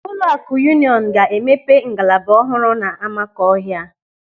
Ụlọakụ Yuuniọnụ ga-emepe ngalaba ọhụrụ n'Amakọhia.